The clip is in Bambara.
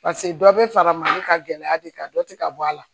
pase dɔ be fara mali ka gɛlɛya de kan dɔ ti ka bɔ a la